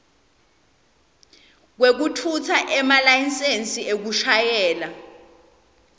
kwekutfutsa emalayisensi ekushayela